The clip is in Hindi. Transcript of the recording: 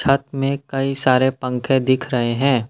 छत में कई सारे पंखे दिख रहे हैं।